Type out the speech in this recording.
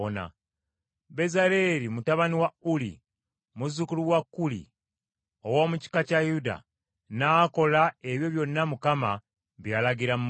Bezaaleeri, mutabani wa Uli muzzukulu wa Kuuli, ow’omu kika kya Yuda, n’akola ebyo byonna Mukama bye yalagira Musa;